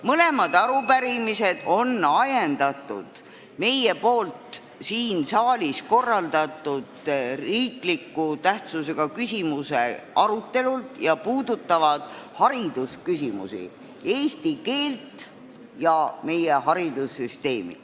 Mõlemad arupärimised on ajendatud meie poolt siin saalis korraldatud riikliku tähtsusega küsimuse arutelust ja puudutavad haridusküsimusi, eesti keelt ja meie haridussüsteemi.